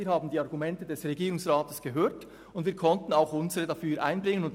Wir haben die Argumente des Regierungsrats gehört und konnten auch unsere Argumente einbringen.